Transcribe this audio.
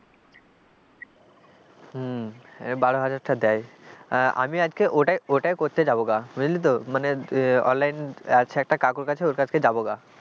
হম বারো হাজার টাকা দেয় আমি আজকে ওটাই ওটাই করতে যাব গা বুঝলি তো মানে online আছে একটা কাকুর কাছে ওর কাছকে যাব গা,